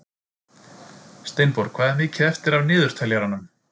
Steinborg, hvað er mikið eftir af niðurteljaranum?